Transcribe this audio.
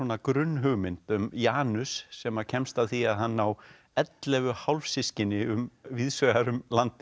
grunnhugmynd um Janus sem kemst að því að hann á ellefu hálfsystkini víðs vegar um landið